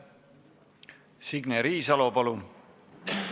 Signe Riisalo, palun!